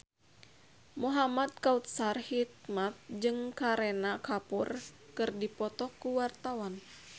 Muhamad Kautsar Hikmat jeung Kareena Kapoor keur dipoto ku wartawan